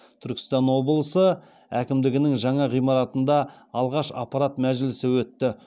түркістан облысы әкімдігінің жаңа ғимаратында алғаш аппарат мәжілісі өтті